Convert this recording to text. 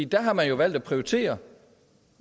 der har man valgt at prioritere